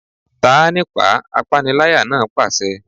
Ta á nípàá! Apániláyà náà pàṣẹ.